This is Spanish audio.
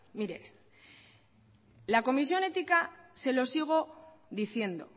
mire la comisión ética se lo sigo diciendo